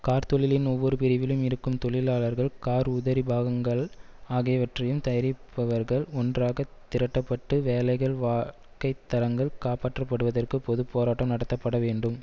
கார்த்தொழிலின் ஒவ்வொரு பிரிவிலும் இருக்கும் தொழிலாளர்கள் கார் உதரி பாகங்கள் ஆகியவற்றையும் தயரிப்பவர்கள் ஒன்றாக திரட்டப்பட்டு வேலைகள் வாழ்க்கை தரங்கள் காப்பாற்றப்படுவதற்கு பொது போராட்டம் நடத்தப்பட வேண்டும்